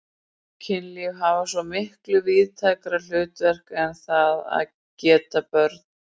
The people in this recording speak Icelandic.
Kynlíf hafi svo miklu víðtækara hlutverk en það að geta börn.